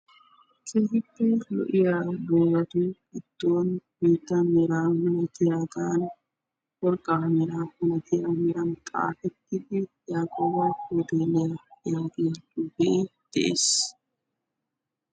keehippe lo''iya doozatu giddon meeda melatiyaagan worqqa mera milaatiyaagan xaafetidi yaaqoba Hooteliya yaagiya xuufe de'ees.